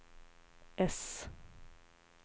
S